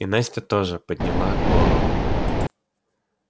и настя тоже подняла голову